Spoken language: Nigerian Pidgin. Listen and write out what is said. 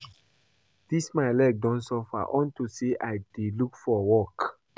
Dis my leg don suffer unto say I dey look for work